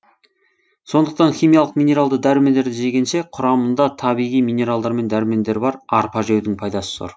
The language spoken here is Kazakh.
сондықтан химиялық минералды дәрумендерді жегенше құрамында табиғи минералдар мен дәрумендері бар арпа жеудің пайдасы зор